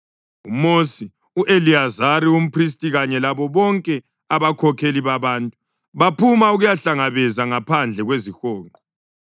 UMosi, u-Eliyazari umphristi kanye labo bonke abakhokheli babantu baphuma ukuyabahlangabeza ngaphandle kwezihonqo.